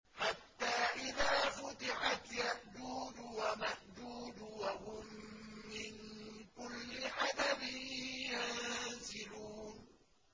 حَتَّىٰ إِذَا فُتِحَتْ يَأْجُوجُ وَمَأْجُوجُ وَهُم مِّن كُلِّ حَدَبٍ يَنسِلُونَ